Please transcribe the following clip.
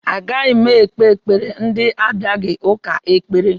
Agaghị m ekpere ndị abịaghị ụka ekpere